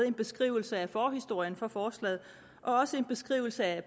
en beskrivelse af forhistorien for forslaget og også en beskrivelse af